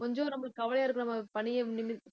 கொஞ்சம் நம்மளுக்கு கவலையா இருக்கு, நம்ம பணிய